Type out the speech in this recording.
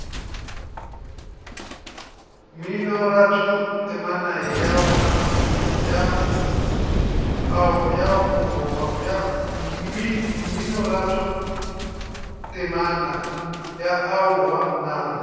mminoratho temana ya aowa nna